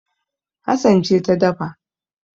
Hassan ce ta dafa